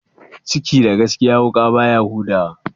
Ciki da gaskiya, wuƙa baya huda wa?